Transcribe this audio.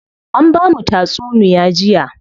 An bamu tatsunuya jiya.